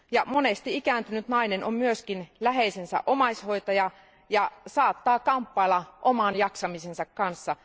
Monesti ikääntynyt nainen on myös läheisensä omaishoitaja ja saattaa kamppailla oman jaksamisensa kanssa.